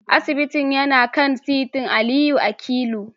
Asibitin yana kan titin Aliyu akilu